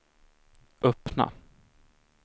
öppna